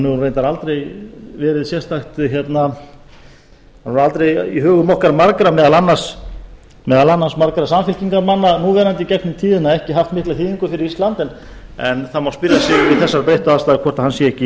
hefur reyndar aldrei í hugum okkar margra meðal annars margra samfylkingarmanna núverandi gegnum tíðina ekki haft mikla þýðingu fyrir ísland en það má spyrja sig við þessar breyttu aðstæður hvort hann sé ekki